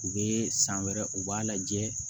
U bɛ san wɛrɛ u b'a lajɛ